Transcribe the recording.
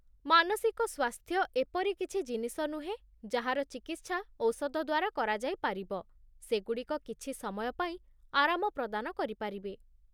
ମାନସିକ ସ୍ୱାସ୍ଥ୍ୟ ଏପରି କିଛି ଜିନିଷ ନୁହେଁ ଯାହାର ଚିକିତ୍ସା ଔଷଧ ଦ୍ୱାରା କରାଯାଇପାରିବ, ସେଗୁଡ଼ିକ କିଛି ସମୟ ପାଇଁ ଆରାମ ପ୍ରଦାନ କରିପାରିବେ।